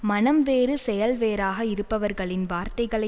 மனம் வேறு செயல் வேறாக இருப்பவர்களின் வார்த்தைகளை